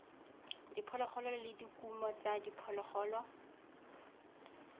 diphologolo le dikumo tsa diphologolo